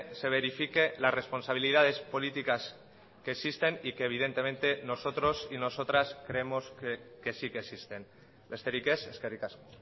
se verifique las responsabilidades políticas que existen y que evidentemente nosotros y nosotras creemos que sí que existen besterik ez eskerrik asko